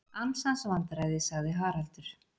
Ansans vandræði sagði Haraldur.